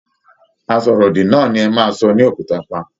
Asọ̀rọ̀ òdì náà ni ẹ maa sọ ní òkúta pa.